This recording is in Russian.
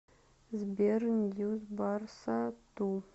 сбер ньюс барса ту